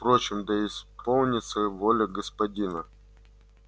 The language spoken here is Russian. впрочем да исполнится воля господина